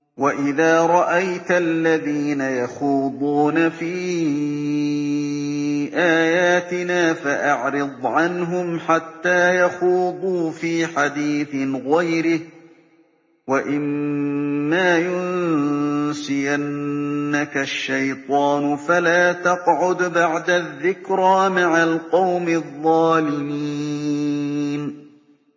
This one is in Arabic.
وَإِذَا رَأَيْتَ الَّذِينَ يَخُوضُونَ فِي آيَاتِنَا فَأَعْرِضْ عَنْهُمْ حَتَّىٰ يَخُوضُوا فِي حَدِيثٍ غَيْرِهِ ۚ وَإِمَّا يُنسِيَنَّكَ الشَّيْطَانُ فَلَا تَقْعُدْ بَعْدَ الذِّكْرَىٰ مَعَ الْقَوْمِ الظَّالِمِينَ